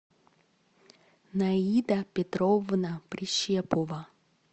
наида петровна прищепова